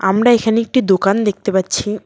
আমরা এখানে একটি দোকান দেখতে পাচ্ছি।